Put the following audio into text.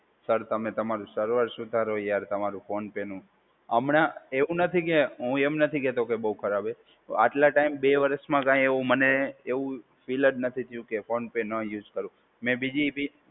Sir તમે તમારું server સુધારો યાર તમારું ફોન પે નું. હમણાં એવું નથી કે હું એમ નથી કહેતો કે બહુ ખરાબ હોય. આટલા ટાઈમ બે વર્ષમાં કઈ એવું મને ફિલ જ નથી થયું કે ફોન પે ના યુઝ કરું. અને બીજી બી